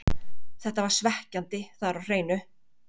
Þetta var svekkjandi, það er á hreinu.